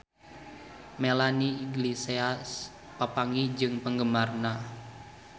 Melanie Iglesias papanggih jeung penggemarna